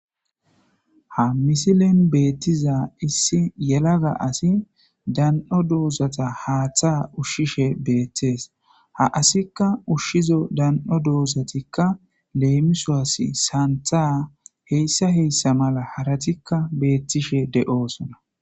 ha misilen beettiza issi yelaga asi dan7o doozata haaththa ushshishe beettees ha asikka ushshizo dan7o doozatikka leemisos saantha heyssa heyssa mala haratikka beettishe de7oosona